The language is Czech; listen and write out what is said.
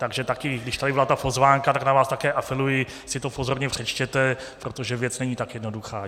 Takže taky, když tady byla ta pozvánka, tak na vás také apeluji, si to pozorně přečtěte, protože věc není tak jednoduchá.